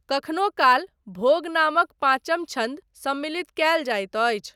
कखनो काल, भोग नामक पाँचम छन्द सम्मिलित कयल जाइत अछि।